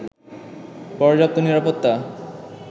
পর্যাপ্ত নিরাপত্তা